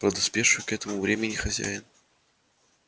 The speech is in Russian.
подоспевший к этому времени хозяин